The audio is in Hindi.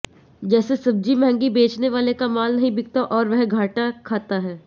जैसे सब्जी महंगी बेचने वाले का माल नहीं बिकता और वह घाटा खाता है